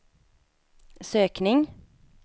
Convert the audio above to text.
sökning